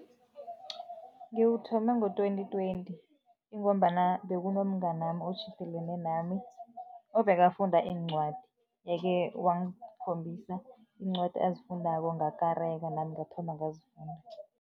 Ngiwuthome ngo-twenty twenty, ingombana bekunomnganami otjhidelene nami obekafunda iincwadi, yeke wangikhombisa iincwadi azifundako, ngakareka, nami ngathoma ngazifunda.